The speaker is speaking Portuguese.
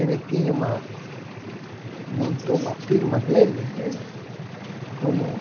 Ele tinha uma... Montou uma firma dele mesmo, como